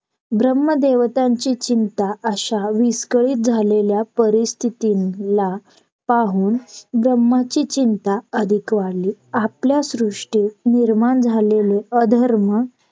आणि मी जर Phone नाही उचलला तर पाच मिनिटाने करा परत दहा मिनिटांनी करा तुम्ही तिकडे थांबा स्वतः इकडून तुम्हाला phone करेल मग ते बोलले ठीक आहे bank गेले का नाही .